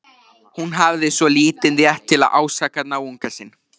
Hún hafði svo lítinn rétt til að ásaka náunga sinn.